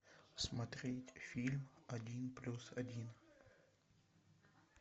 смотреть фильм один плюс один